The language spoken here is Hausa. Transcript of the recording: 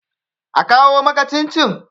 a kawo maka cin-cin!